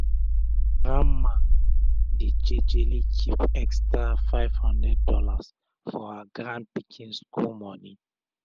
grandma dey jejely kip extra five hundred dollars for her grandpikin school moni.